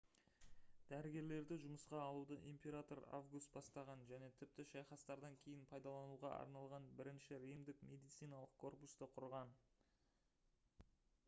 дәрігерлерді жұмысқа алуды император август бастаған және тіпті шайқастардан кейін пайдалануға арналған бірінші римдік медициналық корпусты құрған